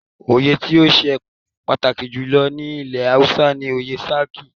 Oyè tí ó ṣe pàtàkì jù lọ ní ilẹ̀ Hausa ni oyè "Sarki".